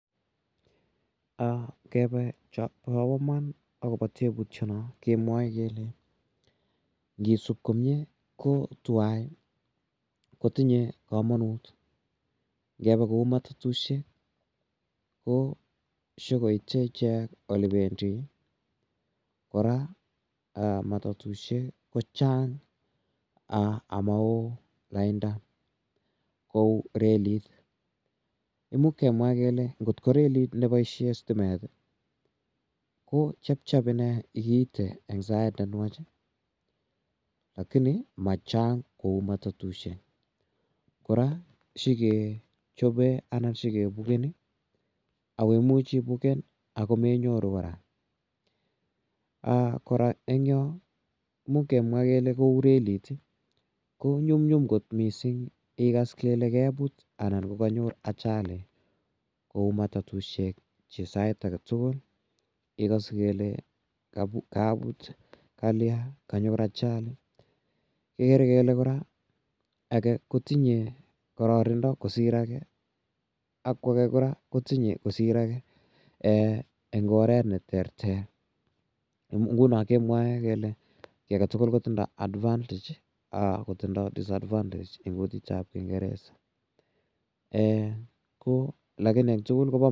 Ngepa chapa iman akopa teputiani kemwae kele ngisup komye ko tuwai ko tinye kamanut. Ngepa kou matatushek ko shu koite ichek ole pendi. Kora matatushek ko chang' ama oo lainda kou relit. Imuch kemwa kele ngot ko relit ne paishe indendet ko chepchep ine kiite en sait ne nwach lakini ma chang' kou matatushek. Kora shi kechope anan shikepukeni, ako imuchi ipuken ako menyoru kora. Kora en yo ko much kemwa kole kou reliit i, ko manyumnyum kot missing' ikas kole keput anan kanyor ajali kou matatushek che dait age tugul igase kele kaput, kalya, kanyor ajali, igere kele kora age ko tinye kararanindo kosir age ako age kora ko tinye kosir age eng' oret ne terter. Nguno kemwae kele ki ave tugul kotinye advantage ako tinye disadvantage eng' kutit ap kingeresa lakini en tugul ko pa kamanut.